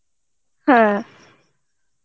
হ্যাঁ